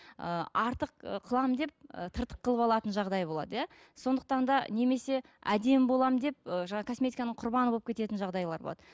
ы артық ы қыламын деп ы тыртық қылып алатын жағдай болады иә сондықтан да немесе әдемі боламын деп ы жаңа косметиканың құрбаны болып кететін жағдайлар болады